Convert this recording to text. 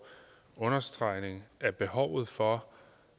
understregning af behovet for